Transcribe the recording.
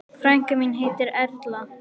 Frænka mín heitir Erla.